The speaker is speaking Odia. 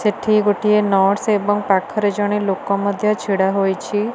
ସେଠି ଗୋଟିଏ ନର୍ସ୍ ଏବଂ ପାଖରେ ଜଣେ ଲୋକ ମଧ୍ୟ ଛିଡ଼ା ହୋଇଛି।